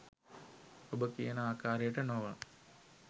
ඔබ කියන ආකාරයට නොව